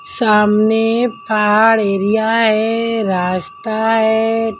सामने पहाड़ एरिया है रास्ता है।